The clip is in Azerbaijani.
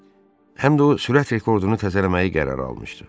Həm də o sürət rekordunu təzələməyi qərara almışdı.